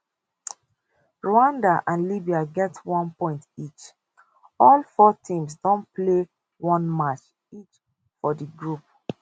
rwanda and libya get one point each all four teams don play one match each for di group